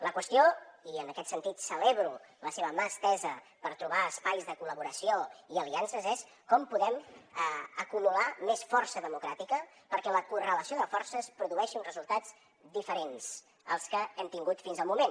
la qüestió i en aquest sentit celebro la seva mà estesa per trobar espais de collaboració i aliances és com podem acumular més força democràtica perquè la correlació de forces produeixi uns resultats diferents als que hem tingut fins al moment